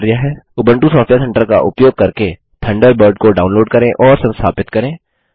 Ubuntu software centre का उपयोग करके थंडरबर्ड को डाउनलोड करें और संस्थापित करें